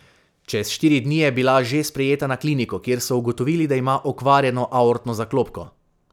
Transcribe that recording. Čez štiri dni je bila že sprejeta na kliniko, kjer so ugotovili, da ima okvarjeno aortno zaklopko.